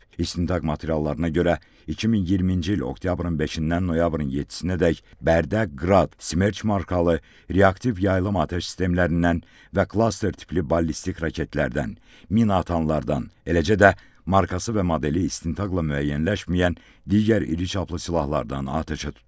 İstintaq materiallarına görə, 2020-ci il oktyabrın 5-dən noyabrın 7-dək Bərdə, Qrad, Smerç markalı reaktiv yaylım atəş sistemlərindən və klaster tipli ballistik raketlərdən, mina atanlardan, eləcə də markası və modeli istintaqla müəyyənləşməyən digər iri çaplı silahlardan atəşə tutulub.